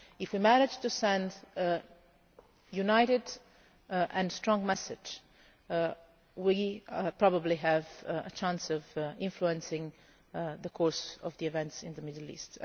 If we manage to send a united and strong message, we probably have a chance of influencing the course of the events in the Middle East.